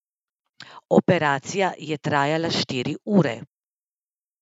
Operacija je trajala štiri ure.